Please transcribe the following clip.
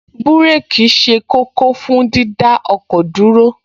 Búréèkì ṣe kókó fún dídá ọkọ̀ dúró